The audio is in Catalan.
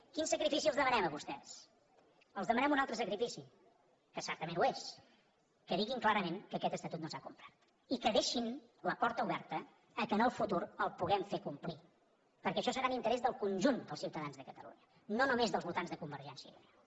quin sacrifici els demanem a vostès els demanem un altre sacrifici que certament ho és que diguin clarament que aquest estatut no s’ha complert i que deixin la porta oberta perquè en el futur el puguem fer complir perquè això serà en interès del conjunt dels ciutadans de catalunya no només dels votants de convergència i unió